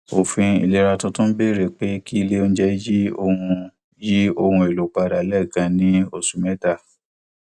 òfin ilera tuntun bẹrẹ pé kí ilé onjẹ yí ohun yí ohun èlò padà lẹẹkan ní oṣù mẹta